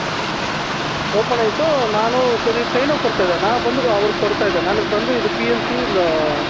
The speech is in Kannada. open ಅಯ್ತು ನಾನು ಸರಿ trainer ಕೊಡ್ತಾ ಇದ್ದೆಣ್ಣ ಬಂದು ಅವ್ರು ಕೊಡ್ತಾ ಇದಾರೆ ನನಗೆ ಬಂದು ಇದು PLC